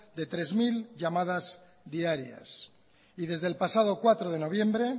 de tres mil llamadas diarias y desde el pasado cuatro de noviembre